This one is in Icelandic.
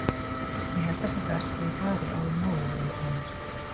Ég held að það sé best að ég fari áður en að móðir þín kemur.